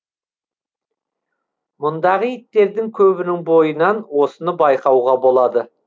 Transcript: мұндағы иттердің көбінің бойынан осыны байқауға болады